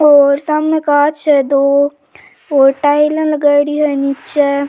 और शामे कांच है दो और टाइल लगाईडी है नीच।